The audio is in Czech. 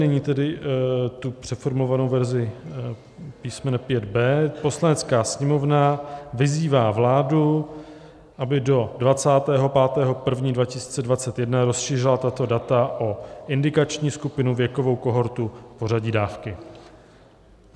Nyní tedy tu přeformulovanou verzi písmene 5b): "Poslanecká sněmovna vyzývá vládu, aby do 25. 1. 2021 rozšířila tato data o indikační skupinu, věkovou kohortu, pořadí dávky.